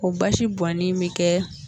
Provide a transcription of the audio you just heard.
Ko baasi bɔnnin b'i kɛ.